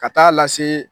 Ka taa lase